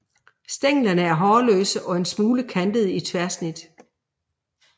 Stænglerne er hårløse og en smule kantede i tværsnit